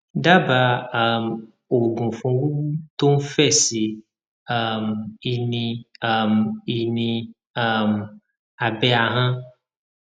daba um oogun fun wuwu to n fe si um i ni um i ni um abe ahon